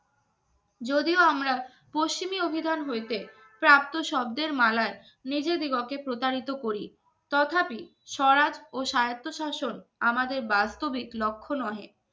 যদিও আমরা পশ্চিমী অভিধান হইতে প্রাপ্ত শব্দের মালা নিজে দিগকে প্রতারিত করি। তথাপি স্বরাজ ও স্বায়ত্তশাসন আমাদের বাস্তবে লক্ষ্য নয়